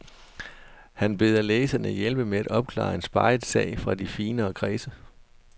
Han beder læserne hjælpe med at opklare en speget sag fra de finere kredse.